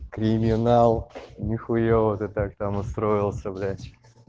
криминал не хуевая ты так то настроился блять